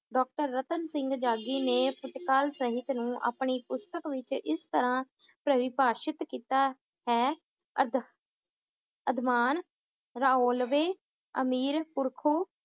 Doctor Ratan Singh Jaggi ਨੇ ਪਟਕਾਲ ਸਹਿਤ ਨੂੰ ਆਪਣੀ ਪੁਸਤਕ ਵਿਚ ਇਸ ਤਰਾਂ ਪਰਿਭਾਸ਼ਿਤ ਕੀਤਾ ਹੈ ਅੱਧ~ ਅਧਮਾਨ ਅਮੀਰ ਪੁਰਖੋਂ,